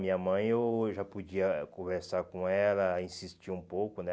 Minha mãe eu já podia conversar com ela, insistir um pouco, né?